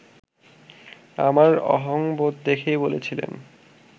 আমার অহংবোধ দেখেই বলেছিলেন